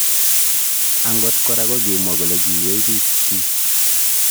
Angot kora kokimwaa kole kiiywei piik. chiik